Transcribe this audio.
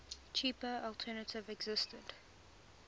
cheaper alternative existed